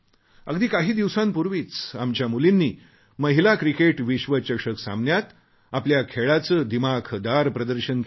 अगदी काही दिवसांपूर्वीच आमच्या मुलींनी महिला क्रिकेट विश्वचषक सामन्यांत आपल्या खेळाचे दिमाखदार प्रदर्शन केले